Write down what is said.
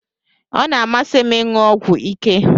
Ọ na-amasị m ịṅụ ọgwụ ike